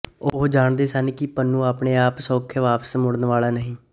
ਉਹ ਜਾਣਦੇ ਸਨ ਕਿ ਪੁੰਨੂੰ ਆਪਣੇ ਆਪ ਸੌਖਿਆਂ ਵਾਪਸ ਮੁੜਨ ਵਾਲਾ ਨਹੀਂ